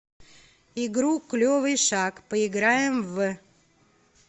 игру клевый шаг поиграем в